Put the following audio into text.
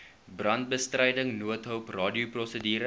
brandbestryding noodhulp radioprosedure